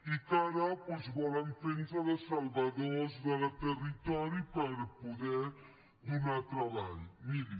i que ara doncs volen fer de salvadors del territori per poder donar treball miri